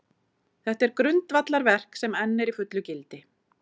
Þetta er grundvallarverk, sem enn er í fullu gildi.